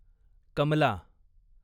Kamala